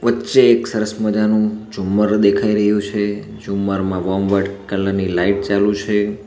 વચ્ચે એક સરસ મજાનું ઝુમ્મર દેખાઈ રહ્યું છે ઝુમ્મરમાં વરમ વાઈટ કલર ની લાઈટ ચાલુ છે.